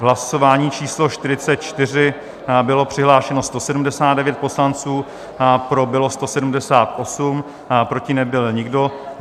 V hlasování číslo 44 bylo přihlášeno 179 poslanců, pro bylo 178, proti nebyl nikdo.